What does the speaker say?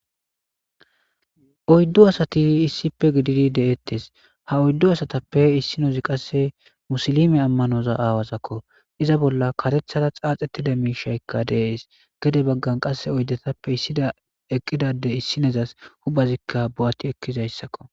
Oyddu asati issipfe gididi de'ettes ha oyddu asatappe issinozi qasse musilime ammanoza aawazakko iza bolla katethada xaax ettida miishaykka deees gede baggan qasse oyddetappe issida eqqidade issinezas hubhazikka bo'atti ekkizayssakko.